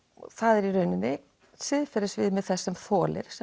það er í rauninni siðferðisviðmið þess sem þolir sem